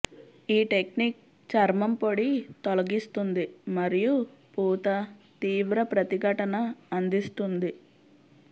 ఈ టెక్నిక్ చర్మం పొడి తొలగిస్తుంది మరియు పూత తీవ్ర ప్రతిఘటన అందిస్తుంది